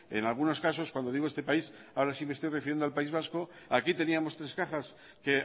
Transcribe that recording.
en algunos casos cuando digo este país ahora sí me estoy refiriendo al país vasco aquí teníamos tres cajas que